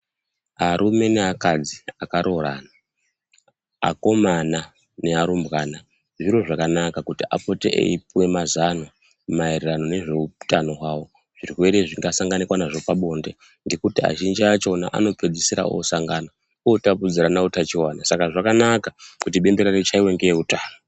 Arume neakadzi akaroorana, akomana nearumbwana ,zviro zvakanaka kuti apote eipuwe mazano, maererano nezveutano hwavo. Zvirwere zvingasanganikwa nazvo pabonde, ngekuti azhinji achona, anopedzisira osangana, otapudzirana utachiwana. Saka zvakanaka kuti bembera richaiwe ngeeutano.